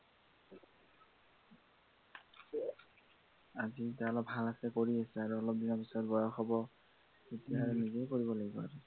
আজি গা অলপ ভাল আছে কৰি আছে আৰু অলপ দিনৰ পিছত বয়স হব তেতিয়া নিজেই কৰিব লাগিব আৰু